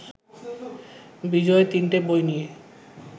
বিজয় তিনটে বই নিয়ে